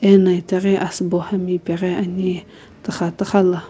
ena itaghi asubo hami ipeghi ani tuxa tuxa la.